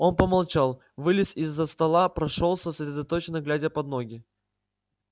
он помолчал вылез из-за стола прошёлся сосредоточенно глядя под ноги